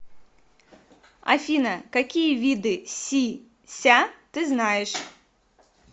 афина какие виды си ся ты знаешь